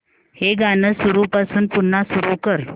हे गाणं सुरूपासून पुन्हा सुरू कर